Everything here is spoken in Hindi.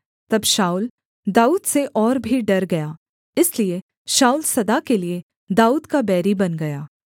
तब शाऊल दाऊद से और भी डर गया इसलिए शाऊल सदा के लिये दाऊद का बैरी बन गया